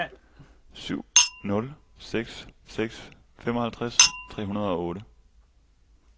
syv nul seks seks femoghalvtreds tre hundrede og otte